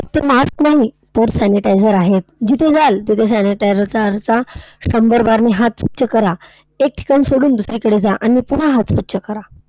फक्त mask नाही, तर sanitizer आहेत. जिथे जाल तिथे sanitizer चा शंभर बारने हात स्वच्छ करा. एक ठिकाण सोडून दुसरीकडे जा आणि पुन्हा हात स्वच्छ करा.